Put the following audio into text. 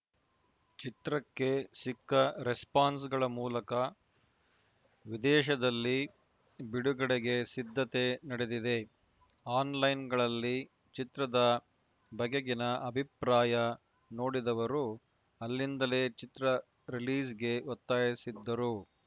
ಚಿತ್ರಕ್ಕೆ ಸಿಕ್ಕ ರೆಸ್ಪಾನ್ಸ್‌ಗಳ ಮೂಲಕ ವಿದೇಶದಲ್ಲಿ ಬಿಡುಗಡೆಗೆ ಸಿದ್ಧತೆ ನಡೆದಿದೆ ಆಲ್‌ಲೈನ್‌ಗಳಲ್ಲಿ ಚಿತ್ರದ ಬಗೆಗಿನ ಅಭಿಪ್ರಾಯ ನೋಡಿದವರು ಅಲ್ಲಿಂದಲೇ ಚಿತ್ರದ ರಿಲೀಸ್‌ಗೆ ಒತ್ತಾಯಿಸಿದ್ದರು